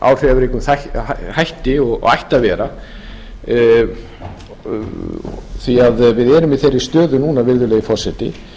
áhrifaríkum hætti og ætti að vera því að við erum í þeirri stöðu núna virðulegi forseti